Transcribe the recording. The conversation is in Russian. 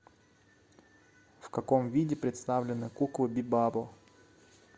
в каком виде представлены куклы бибабо